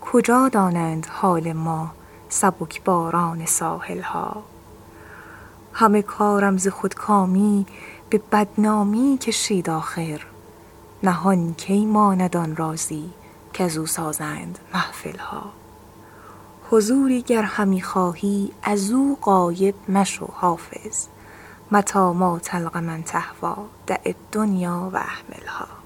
کجا دانند حال ما سبک باران ساحل ها همه کارم ز خودکامی به بدنامی کشید آخر نهان کی ماند آن رازی کزو سازند محفل ها حضوری گر همی خواهی از او غایب مشو حافظ متیٰ ما تلق من تهویٰ دع الدنیا و اهملها